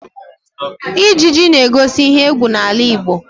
Ijiji na-egosi ihe égwú n'ala Igbo